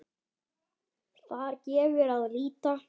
Þar gefur að líta